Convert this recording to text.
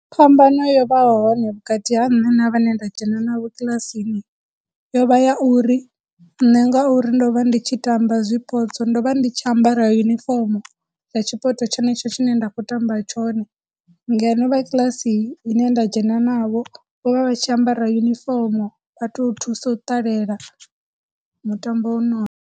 Phambano yo vhaho hone vhukati ha nṋe na vhane nda dzhena na vho kilasini yo vha ya uri, nṋe ngauri ndo vha ndi tshi tamba zwipotso ndo vha ndi tshi ambara yunifomo ya tshipoto tshenetsho tshine nda khou tamba tshone, ngeno vha kiḽasi ine nda dzhena navho, vho vha vha tshi ambara yunifomo vha tou thusa u ṱalela mutambo u .